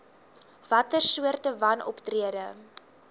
watter soorte wanoptrede